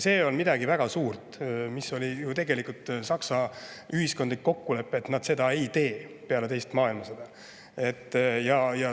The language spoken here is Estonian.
See on midagi väga suurt, sest tegelikult oli Saksamaal peale teist maailmasõda ühiskondlik kokkulepe, et nad seda ei tee.